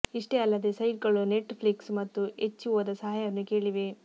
ಇಷ್ಟೇ ಅಲ್ಲದೇ ಸೈಟ್ಗಳು ನೆಟ್ ಫ್ಲಿಕ್ಸ್ ಮತ್ತು ಎಚ್ಬಿಒದ ಸಹಾಯವನ್ನು ಕೇಳಿವೆ